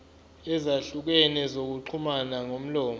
ezahlukene zokuxhumana ngomlomo